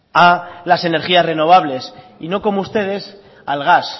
a las energías renovables y no como ustedes al gas